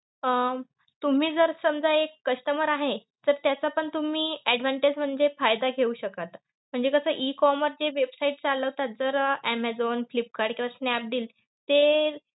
अं तुम्ही जर समजा एक customer आहे, तर त्याचा पण तुम्ही advantage म्हणजे फायदा घेऊ शकाल. म्हणजे कसं E commerce ज्या website चालवता, तर ऍमेझॉन, फ्लिपकार्ट किंवा स्नॅपडील ते